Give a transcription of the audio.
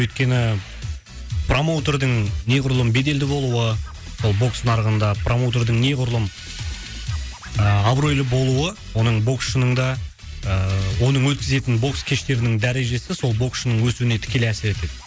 өйткені ііі промоутердің неғұрлым беделді болуы ол бокс нарығында промоутердің неғұрлым ыыы абыройлы болуы оның боксшының да ыыы оның өткізетін бокс кештерінің дәрежесі сол боксшының өсуіне тікелей әсер етеді